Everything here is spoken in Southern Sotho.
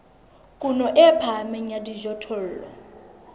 kuno e phahameng ya dijothollo